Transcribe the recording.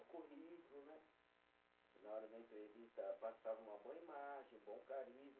Na hora da entrevista, passava uma boa imagem, bom carisma.